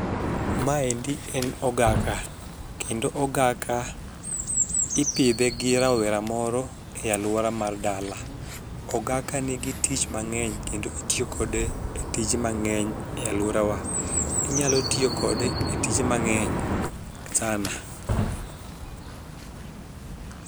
Maendi en ogaka kendo ogaka ipidhe gi rawera moro e aluora mar dala. Ogaka nigi tich mang'eny kendo itiyo kode e tije mang'eny e aluorawa. Inyalo tiyo kode e tije mang'eny sana.